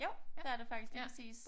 Jo det er det faktisk lige præcis